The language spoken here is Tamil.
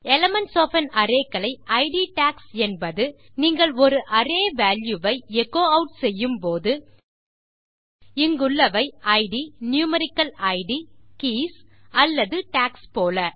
எலிமென்ட்ஸ் ஒஃப் ஆன் அரே களை இட் டாக்ஸ் என்பது நீங்கள் ஒரு அரே வால்யூ ஐ எச்சோ ஆட் செய்யும்போது இங்குள்ளவை இட் நியூமெரிக்கல் இட் கீஸ் அல்லது டாக்ஸ் போல